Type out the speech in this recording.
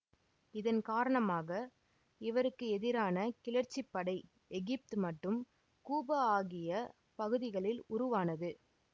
இதன் காரணமாக இவருக்கு எதிரான கிளர்ச்சிப்படை எகிப்து மற்றும் கூபா ஆகிய பகுதிகளில் உருவானது